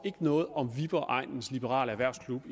noget om viborg egnens liberale erhvervslaug